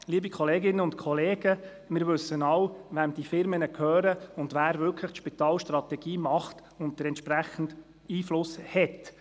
Liebe Kolleginnen und Kollegen, wir wissen alle, wem diese Firmen gehören, wer wirklich die Spitalstrategie festlegt und entsprechend Einfluss hat.